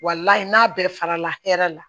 n'a bɛɛ farala hɛrɛ la